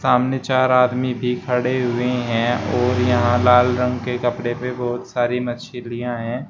सामने चार आदमी भी खड़े हुए हैं और यहां लाल रंग के कपड़े पे बहोत सारी मछलियां हैं।